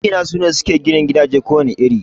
Magina ne suke ginin gidaje ko wane iri